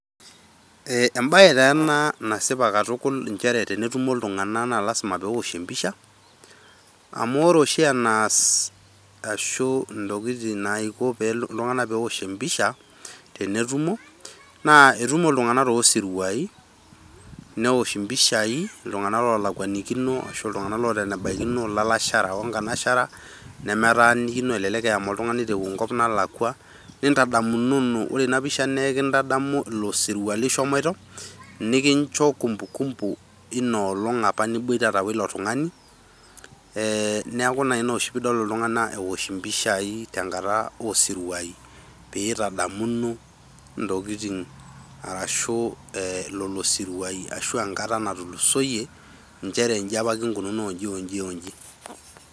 Eh embae taa ena nasipa iltunganak naa tenetumo iltunganak naa lasima peosh empisha . Amu ore oshi enaas ashu intokitin naiko ,iltunganak peosh empisha naa etumo iltunganak too siruai , neosh impishai , iltunganak lolakwanikino ashu iltunganak loota ene baikino , ilalasherak onkanasherak nemetaanikino , elelek eema oltungani tenkop nalakwa, nintadamunono. Ore ina pisha naa ekintadamu ilo sirua lishomoito, nikincho kumbukumbu einoolong apa niboitata wilo tungani e niaku naa ina oshi pidol iltunganak eosh impishai tenkata osirua , peitadamuno ntokitin arashu lolo sirua ashu enkata natulusoyie injere inji apa kinkununo inji onji.